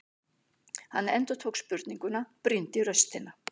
Hann endurtók spurninguna, brýndi raustina.